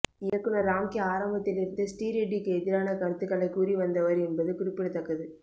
இயக்குனர் ராம்கி ஆரம்பத்தில் இருந்தே ஸ்ரீரெட்டிக்கு எதிரான கருத்துக்களை கூறி வந்தவர் என்பது குறிப்பிடத்தக்கது